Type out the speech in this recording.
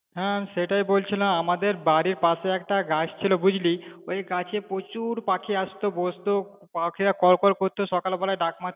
হ্যা সেটাই বলছিলাম আমাদের বাড়ির পাশে একটা গাছ ছিলো বুঝলি, ওই গাছে প্রচুর পাখি আসতো, বসত পাখিরা কলকল করতো, সকাল বেলায় ডাক মারত~